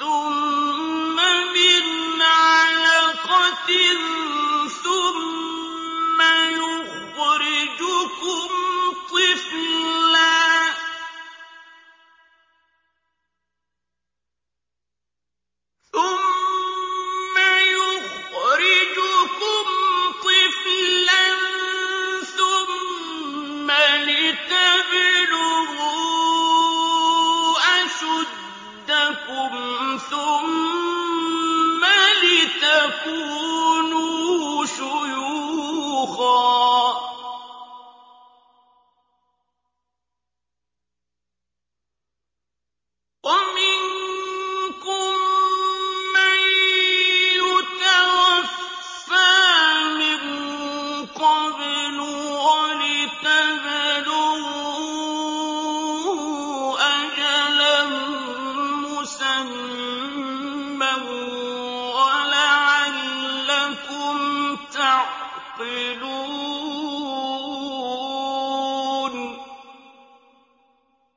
ثُمَّ مِنْ عَلَقَةٍ ثُمَّ يُخْرِجُكُمْ طِفْلًا ثُمَّ لِتَبْلُغُوا أَشُدَّكُمْ ثُمَّ لِتَكُونُوا شُيُوخًا ۚ وَمِنكُم مَّن يُتَوَفَّىٰ مِن قَبْلُ ۖ وَلِتَبْلُغُوا أَجَلًا مُّسَمًّى وَلَعَلَّكُمْ تَعْقِلُونَ